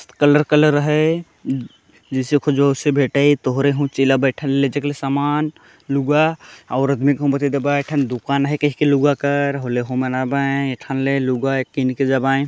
colour colour है ज जिसे को जोर से भेटाई तोहरे सामान लुग्गा औरत ले घुमेल हे बैठन गोटोक दुकान हे कहि के लुग्गा कर होले हो बनाबाय एठन लुग्गा हे किनि के जबाय --